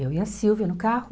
Eu e a Silvia no carro.